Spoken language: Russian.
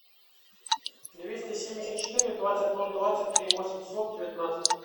двести семьдесят четыре двадцать ноль двадцать три восемьсот девятнадцать